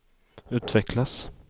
utvecklas